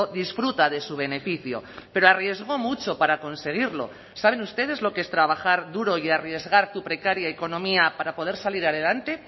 disfruta de su beneficio pero arriesgó mucho para conseguirlo saben ustedes lo que es trabajar duro y arriesgar tu precaria economía para poder salir adelante